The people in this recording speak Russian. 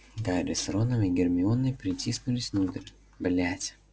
гарри с роном и гермионой притиснулись внутрь блять